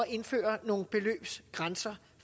indføre nogle beløbsgrænser